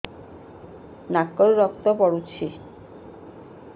ନାକରୁ ରକ୍ତ ପଡୁଛି